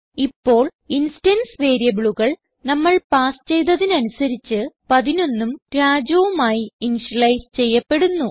ഇപ്പോൾ ഇൻസ്റ്റൻസ് വേരിയബിളുകൾ നമ്മൾ പാസ് ചെയ്തതനുസരിച്ച് 11ഉം Rajuഉം ആയി ഇനിഷ്യലൈസ് ചെയ്യപ്പെടുന്നു